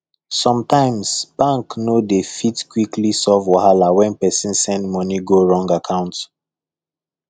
sometimes bank no dey fit quickly solve wahala when person send money go wrong account